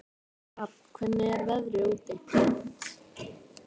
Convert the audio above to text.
Hrafn, hvernig er veðrið úti?